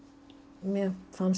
mér fannst